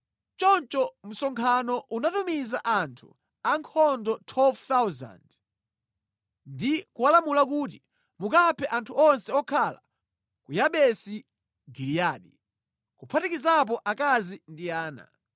Choncho msonkhano unatumiza anthu ankhondo 12,000 ndi kuwalamula kuti, “Mukaphe anthu onse okhala ku Yabesi Giliyadi, kuphatikizapo akazi ndi ana.”